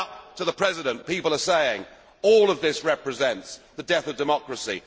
right up to the President people are saying all of this represents the death of democracy.